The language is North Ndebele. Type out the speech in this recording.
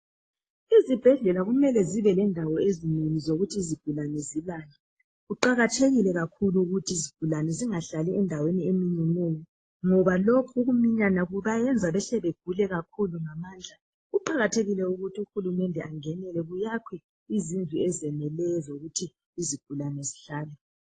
Izibhedlela zimele zibe lendawo ezinengi zokuthi izigulane zilale. Kuqakathekile kakhulu ukuthi izigulane zinghlali endaweni eminyeneyo ngoba loku ukuminyana kubayenza behle begule kakhulu ngamandla. Kuqakathekile ukuthi uHulumende angenele kuyakhwe izindlu ezeneleyo ezokuthi izigulane zihlale.